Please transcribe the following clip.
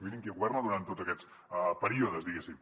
mirin qui governa durant tots aquests períodes diguéssim